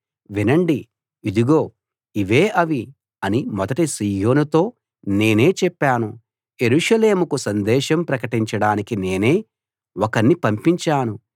వినండి ఇదిగో ఇవే అవి అని మొదట సీయోనుతో నేనే చెప్పాను యెరూషలేముకు సందేశం ప్రకటించడానికి నేనే ఒకణ్ణి పంపించాను